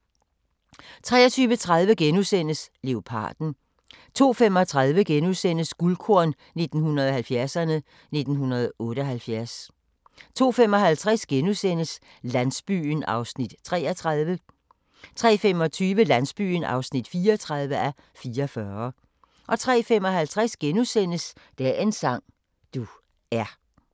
23:30: Leoparden * 02:35: Guldkorn 1970'erne: 1978 * 02:55: Landsbyen (33:44)* 03:25: Landsbyen (34:44) 03:55: Dagens sang: Du er *